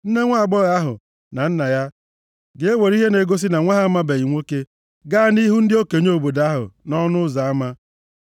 nne nwaagbọghọ ahụ, na nna ya, ga-ewere ihe ga-egosi na nwa ha amabeghị nwoke gaa nʼihu ndị okenye obodo ahụ, nʼọnụ ụzọ ama.